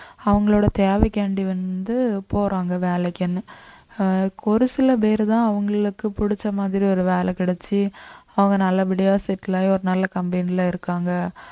அவங்களோட தேவைக்காண்டி வந்து போறாங்க வேலைக்குன்னு அஹ் ஒரு சில பேருதான் அவங்களுக்கு புடிச்ச மாதிரி ஒரு வேலை கிடைச்சு அவங்க நல்லபடியா settle ஆகி ஒரு நல்ல company ல இருக்காங்க